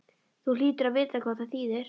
Þú hlýtur að vita hvað það þýðir?